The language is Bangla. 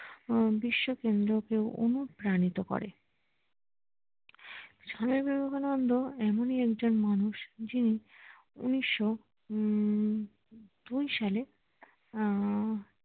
বিশ্বকেন্দ্রকেও অনুপ্রাণিত করে আহ স্বামী বিবেকানন্দ এমনি একজন মানুষ যে ঊনিশোও হম দুই সালে আহ